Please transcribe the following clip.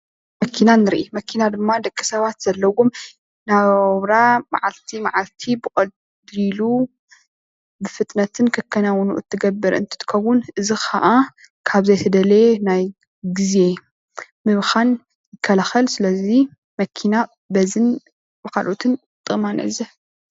መኪና ንርኢ መኪና ድማ ንደቂ ሰባት ዘለዎም ናብራ መዓልቲ መዓልቲ ብቀሊሉ ብፍጥነትን ከከናዉን እትገብር እንትትከዉን እዚ ከኣ ካብ ዘይተደለየ ግዘ ምብካን ይከላከል ስልዚ መኪና በዝን ብካልኦትን ጥቅማ ንዕዘብ